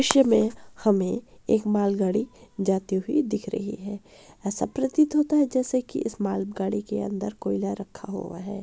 दृश्य में हमें एक माल गाड़ी जाती हुई दिख रही है ऐसा प्रतीत होता है जैसे की इस माल गाड़ी के अंदर कोयला रखा हुआ है।